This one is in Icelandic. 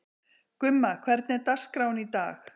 Gumma, hvernig er dagskráin í dag?